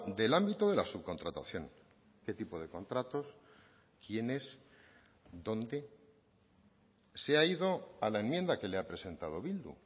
del ámbito de la subcontratación qué tipo de contratos quiénes dónde se ha ido a la enmienda que le ha presentado bildu